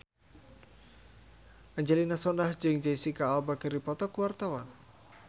Angelina Sondakh jeung Jesicca Alba keur dipoto ku wartawan